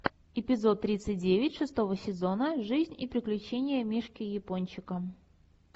эпизод тридцать девять шестого сезона жизнь и приключения мишки япончика